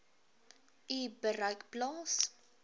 u bereik plaas